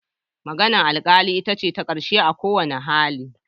Maganar alkali ita ce ta karshe a kowane hali.